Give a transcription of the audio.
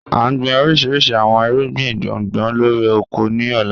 A n gbin orishirishi awọn irugbin gbongbo lori oko ni ọla.